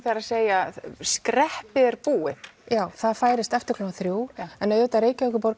er að segja skreppið er búið já það færist eftir klukkan þriðja en auðvitað er Reykjavíkurborg